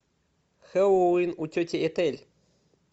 хэллоуин у тети этель